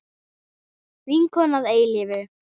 Vinkona að eilífu.